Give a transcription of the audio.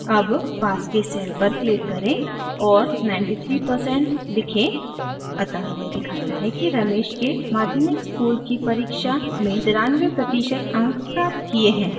अब पास के cell पर click करें और 93 percent लिखें अतः यह दिखाता है कि ramesh के माध्यमिक school की परीक्षा में 93 प्रतिशत अंक प्राप्त किए है